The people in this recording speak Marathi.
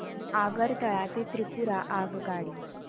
आगरतळा ते त्रिपुरा आगगाडी